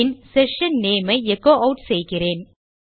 பின் session name ஐ echo add செய்கிறேன்